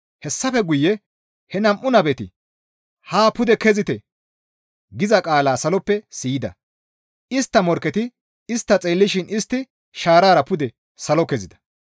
Hessafe guye he nam7u nabeti, «Haa pude kezite!» giza qaala saloppe siyida; istta morkketi istta xeellishin istti shaarara pude salo kezida.